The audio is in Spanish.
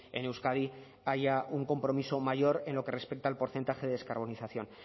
en euskadi haya un compromiso mayor en lo que respecta al porcentaje de descarbonización